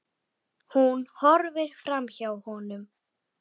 Hún horfir framhjá honum.